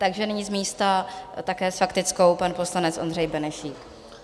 Takže nyní z místa, také s faktickou, pan poslanec Ondřej Benešík.